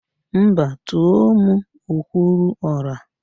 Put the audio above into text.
Mba, tùó mụ okwuruọra